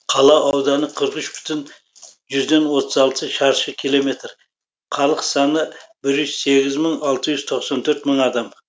қала ауданы қырық үш бүтін жүзден отыз алты шаршы километр халық саны бир жүз сегіз мың алты жүз тоқсан төрт мың адам